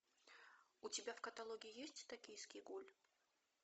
у тебя в каталоге есть токийский гуль